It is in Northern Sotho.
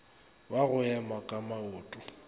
wa go ema ka maoto